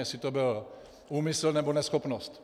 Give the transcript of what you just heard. Jestli to byl úmysl, nebo neschopnost.